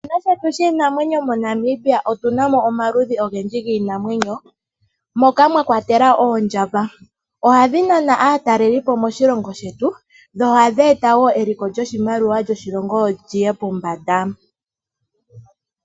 Moshikuni o shetu shiinamwenyo moNamibia otuna mo omaludhi ogendji giinamwenyo, moka mwa kwatelwa oondjamba. Oha dhi Nana aatalelipo moshilongo shetu, dho oha dhi eta wo eliko lyoshimaliwa lyoshilongo li ye pombanda.